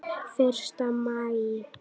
Fyrsta maí.